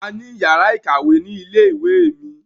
A ní yàrá ìkàwé ni ilé ìwé mi.